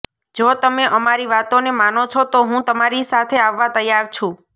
જો તમે અમારી વાતોને માનો છો તો હું તમારી સાથે આવવા તૈયાર છું